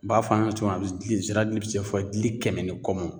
N b'a fɔ a' ɲɛna cogo min na a be s dili zira dili bɛ se fɔ dili kɛmɛ ni kɔ mɔ.